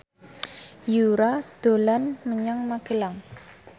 Yura dolan menyang Magelang